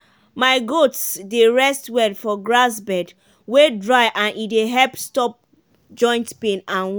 my goats dey rest well for grass bed wey dry and e dey help stop joint pain and wound.